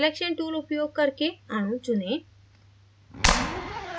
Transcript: selection tool उपयोग करके अणु चुनें